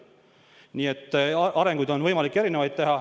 Nii et võimalikke arenguid on erinevaid.